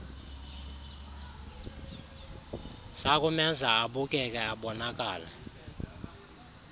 zakumenza abukeke abonakale